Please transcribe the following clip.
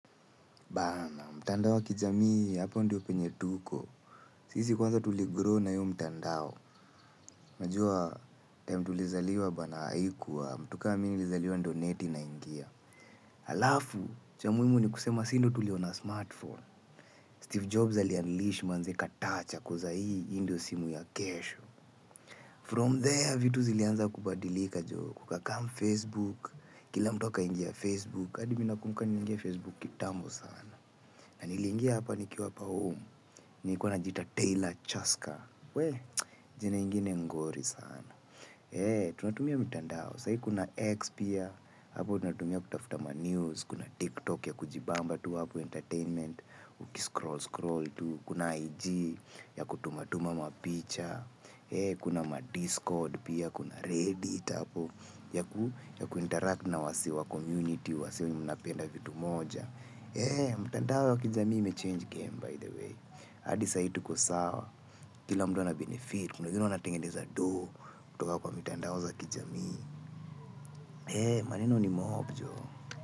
Bana, mtandao wa kijamii, hapo ndio penye tuko. Sisi kwanza tuligrow na hiyo mtandao. Najua, time tulizaliwa bana haikuwa, mtu kaa mimi nilizaliwa ndio neti inaingia. Halafu, cha muhimu ni kusema si ndio tuliona smart phone. Steve Jobs alianlish manze katouch, kuuza hii indio simu ya kesho. From there, vitu zilianza kubadilika joo. Kuka kamu Facebook, kila mtu aka ingia Facebook, hadi mi nakumbuka nili ingia Facebook kitambo sana. Na nilingia hapa nikiwa hapa home. Nilikua najiita Taylor Chaska. Wee, jina ingine ngori sana. Eee, tunatumia mitandao. Sai kuna X pia. Hapo utatumia kutafuta ma news. Kuna TikTok ya kujibamba tu hapo entertainment. Ukiscroll, scroll tu. Kuna IG ya kutumatuma mapicha. Eee, kuna madiscord pia. Kuna reddit apo ya ku interact na wasee wa comminity. Wasee wenye mna penda vitu moja. Eee, mitandao ya kijamii ime change game by the way. Hadi sai tuko sawa kila mtu ana benefit. Kuna wengine wanatengendeza doo kutoka kwa mitandao za kijamii eeh maneno ni mob joh.